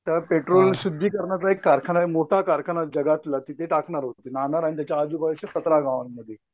तर पेट्रोल शुद्धीकरणाचा एक कारखाना आहे मोठा जगातला तिथे टाकणार होते नानार आणि आजूबाजूच्या सतरा गावांमध्ये.